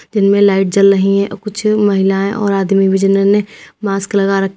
इनमें लाइट जल रही है कुछ महिलाएं और आदमी जिन्होंने मास्क लगा रखा--